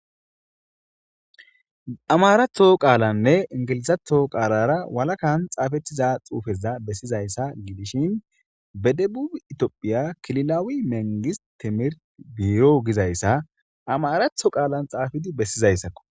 Amaratho qaalanne ingilizatho qaalara walakan xaafettiza xuufeza bessizayssa gidishin bedebu itiophiya kililawi mengis timir biyo gizayssa amaratho qaalan xaafidi bessizayssakko,